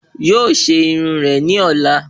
Yóò ṣe irun rẹ̀ ní ọ̀la